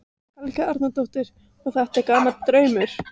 Helga Arnardóttir: Og er þetta gamall draumur?